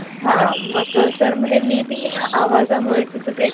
अद्याप याची अधिकृत पुष्टी झालेली नाही. Hockey हा सर्वात जुन्या खेळांपैकी एक खेळ आहे, या खेळात